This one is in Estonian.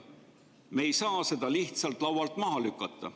Me ei saa seda lihtsalt laualt maha lükata.